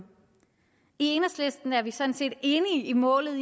enhedslisten er vi sådan set enige i målet